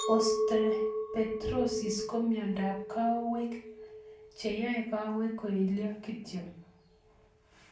Osteopetrosis ko miodop kowaik che yai kawaik koilyo kityo